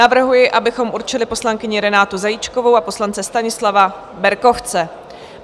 Navrhuji, abychom určili poslankyni Renátu Zajíčkovou a poslance Stanislava Berkovce.